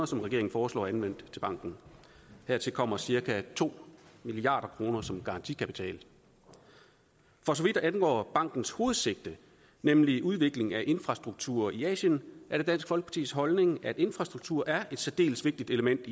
som regeringen foreslår anvendt til banken hertil kommer cirka to milliard kroner som garantikapital for så vidt angår bankens hovedsigte nemlig udvikling af infrastruktur i asien er det dansk folkepartis holdning at infrastruktur er et særdeles vigtigt element